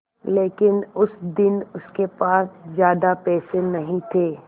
लेकिन उस दिन उसके पास ज्यादा पैसे नहीं थे